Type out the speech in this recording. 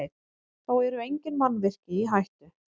Þá eru engin mannvirki í hættu